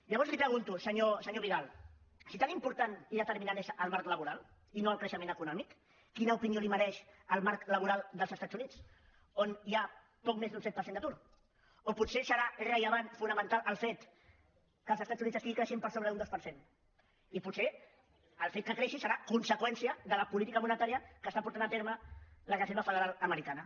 llavors li pregunto senyor vidal si tan important i determinant és el marc laboral i no el creixement eco·nòmic quina opinió li mereix el marc laboral dels es·tats units on hi ha poc més d’un set per cent d’atur o potser deu ser rellevant fonamental el fet que els estats units estiguin creixent per sobre d’un dos per cent i potser el fet que creixin deu ser conseqüència de la política monetària que porta a terme la reser·va federal americana